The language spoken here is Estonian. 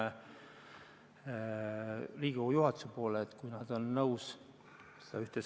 Juba praegu on võimalik näha, et pensionifondi teise sambasse mitte makstes on võimalik säästa ainult 1,6%, aga tagasi saada 6% kuus sääste – 6%!